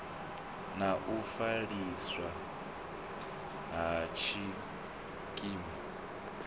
na u fheliswa ha tshikimu